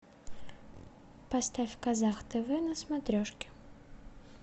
поставь казах тв на смотрешке